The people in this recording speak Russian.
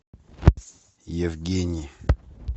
евгений